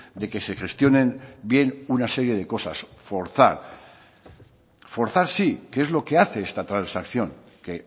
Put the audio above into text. de que se gestionen bien una serie de cosas forzar forzar sí que es lo que hace esta transacción que